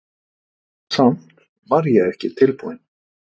Samt var ég ekki tilbúinn.